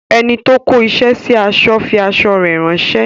Enito kó isẹ sí aṣọ fi aṣọ rè ránsẹ́